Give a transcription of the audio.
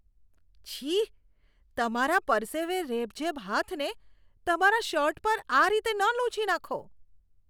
છી. તમારા પરસેવે રેબઝેબ હાથને તમારા શર્ટ પર આ રીતે ન લૂછી નાંખો.